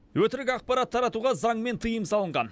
өтірік ақпарат таратуға заңмен тыйым салынған